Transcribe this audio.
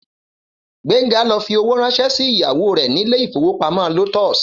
Gbénga lọ fi owó ránṣẹ́ sí ìyàwó rẹ̀ ni ilé ìfowópamọ́ Lotus